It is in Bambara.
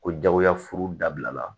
Ko jagoya furu dabila la